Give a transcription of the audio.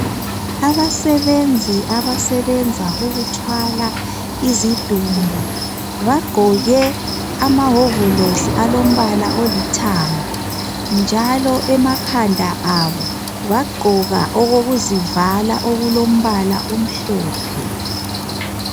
Abasebenzi abasebenza ukuthwala izidumbu bagqoke amawovolosi alombala olithanga njalo emakhanda abo bagqoka okokuzivala okulombala omhlophe.